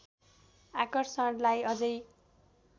आकर्षणलाई अझै